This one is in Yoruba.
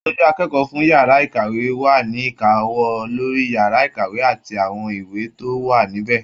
Aṣojú akẹ́kọ̀ọ́ fún yàrá ìkàwé wa ni ìkáwọ́ lórí yàrá ìkàwé àti àwọn ìwé tó wà níbẹ.